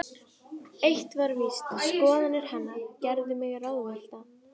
Eitt var víst: Skoðanir hennar gerðu mig ráðvillta.